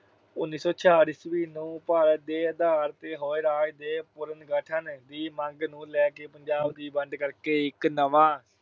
ਉਨੀ ਸੌ ਛਿਆਹਠ ਈਸਵੀ ਨੂੰ ਭਾਸ਼ਾ ਦੇ ਆਧਾਰ ਤੇ ਹੋਏ ਰਾਜ ਦੇ ਪੁਨਰਗਠਨ ਦੀ ਮੰਗ ਨੂੰ ਲੈ ਕੇ ਪੰਜਾਬ ਦੀ ਵੰਡ ਕਰਕੇ ਇਕ ਨਵਾਂ